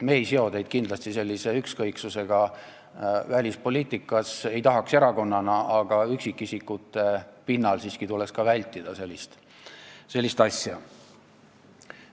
Me ei tahaks kindlasti teid erakonnana siduda sellise ükskõiksusega välispoliitika vastu, aga ka üksikisikute pinnal tuleks siiski sellist asja vältida.